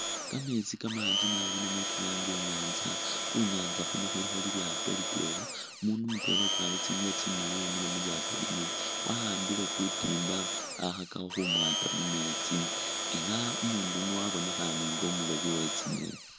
Kameetsi kamanji naabi kalange inyanza, khu'nyanza khuno khulikho lilyaato litwela umundu mutwela ukwarile tsingubo tsimaali wemile mulyaato lino wa'ambile kutimba khakhakakho khumwata mumeetsi elah umundu yuuno wabonekhane nga umuloobi we tsi'ngeni